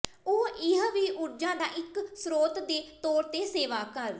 ਉਹ ਇਹ ਵੀ ਊਰਜਾ ਦਾ ਇੱਕ ਸਰੋਤ ਦੇ ਤੌਰ ਤੇ ਸੇਵਾ ਕਰ